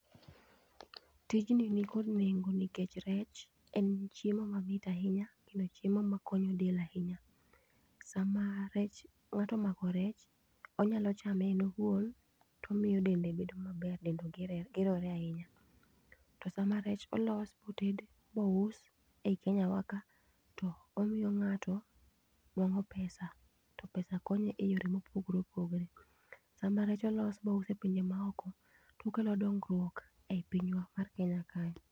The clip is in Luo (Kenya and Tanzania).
Tijni ni kod nengo nikech rech en chiemo mamit ahinya kendo chiemo makonyo del ahinya. Sama rech ngato omako rech onyalo chame en owuon tomiyo dende bedo maber dende gerore ahinya. To sama rech olos moted mous eyi Kenyawaka to omiyo ng'ato nwang'o pesa to pesa konyo eyore mopogore opogore. Sama rech olos mouse pinje maoko tokelo donguok eyi pinywa mar kenyawa kae.